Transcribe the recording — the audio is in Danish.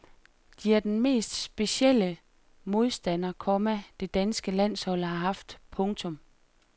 De er den mest specielle modstander, komma det danske landshold har haft. punktum